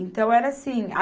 Então, era assim.